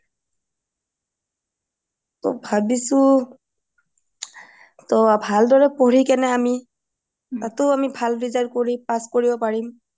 টোহ ভাবিছোঁ ভাল দৰে পঢ়ি আমি টোহ ভাল দৰে পঢ়ি কেনে আমি ভাল result কৰিব পাৰিম